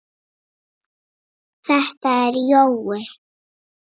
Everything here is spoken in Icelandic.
Þetta er Jói!